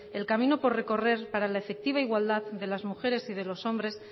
el camino por recorrer para la efectiva igualdad de las mujeres y de los hombres